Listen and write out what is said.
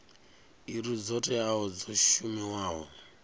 iri dzo teaho dzo shumiwaho